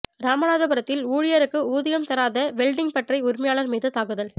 ராமநாதபுரத்தில் ஊழியருக்கு ஊதியம் தராத வெல்டிங் பட்டறை உரிமையாளா் மீது தாக்குதல்